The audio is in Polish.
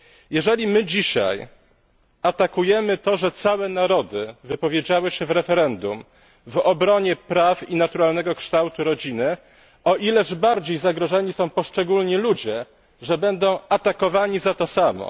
Jeżeli my dzisiaj atakujemy to, że całe narody wypowiedziały się w referendum w obronie praw i naturalnego kształtu rodziny, o ileż bardziej zagrożeni są poszczególni ludzie, że będą atakowani za to samo.